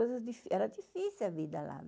difí. Era difícil a vida lá.